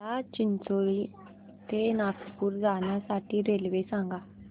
मला चिचोली ते नागपूर जाण्या साठी रेल्वे सांगा